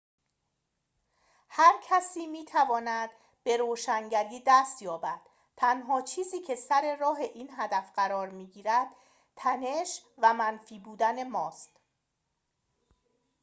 هر کسی می‌تواند به روشنگری دست یابد تنها چیزی که سر راه این هدف قرار می‌گیرد تنش و منفی بودن ماست